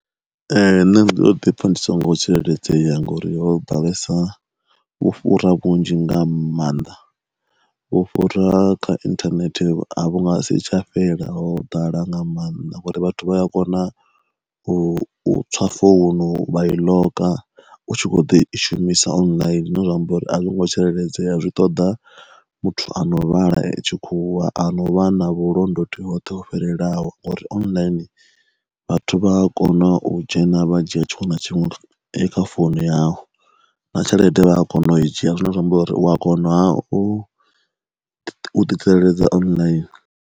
Ee nṋe ndo ḓi pfha ndi songo tsireledzea nga uri ho ḓalesa vhufhura vhunzhi nga maanḓa, vhufhura kha inthanethe a vhu nga si tsha fhela ho ḓala nga maanḓa ngori vhathu vha ya kona u tswa founu vha i ḽoka u tshi kho ḓo i shumisa online zwine zwa amba uri a zwo ngo tsireledzea zwi ṱoḓa muthu ano vhala tshikhuwa ano vhana vhulondoti hoṱhe u fhirelaho uri online vhathu vha a kona u dzhena vha dzhia tshiṅwe na tshiṅwe kha founu yau, na tshelede vha a kona u i dzhia zwine zwa amba uri u a konaha u ḓi tsireledza online.